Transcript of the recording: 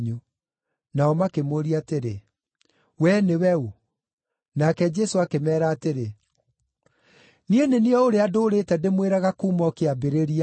Nao makĩmũũria atĩrĩ, “Wee nĩwe ũ.” Nake Jesũ akĩmeera atĩrĩ, “Niĩ nĩ niĩ o ũrĩa ndũũrĩte ndĩmwĩraga kuuma o kĩambĩrĩria.